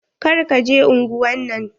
Kar ka je unguwan nan.